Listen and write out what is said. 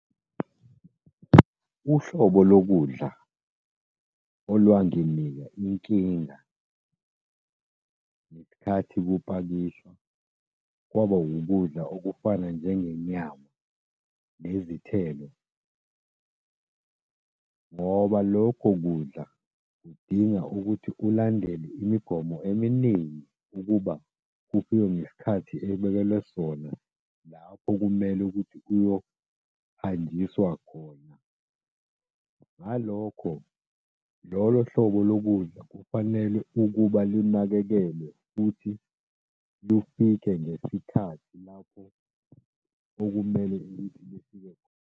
Uhlobo lokudla olwanginika inkinga ngesikhathi kupakishwa kwaba ukudla okufana njengenyama nezithelo, ngoba lokho kudla kudinga ukuthi ulandele imigomo eminingi ukuba kufike ngesikhathi ebekelwe sona lapho kumele ukuthi kuyohanjiswa khona. Ngalokho, lolo hlobo lokudla kufanele ukuba lunakekelwe futhi lufike ngesikhathi lapho okumele ukuthi lufike khona.